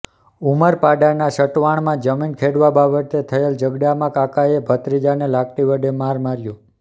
ઉમરપાડાના સટવાણમાં જમીન ખેડવા બાબતે થયેલ ઝગડામાં કાકાએ ભત્રીજાને લાકડી વડે મારમાર્યો